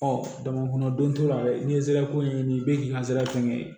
dama kɔnɔ don a la n'i ye zara ko ye nin bɛ k'i ka zira ko ye